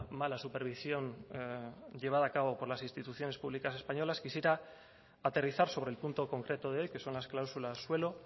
mala supervisión llevada a cabo por las instituciones públicas españolas quisiera aterrizar sobre el punto concreto de hoy que son las cláusulas suelo